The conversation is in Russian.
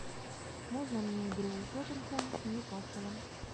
можно мне игру тоттенхэм с ньюкаслом